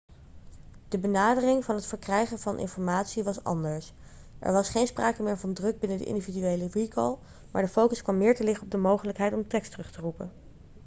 de benadering van het verkrijgen van informatie was anders er was geen sprake meer van druk binnen de individuele recall maar de focus kwam meer te liggen op de mogelijkheid om tekst terug te roepen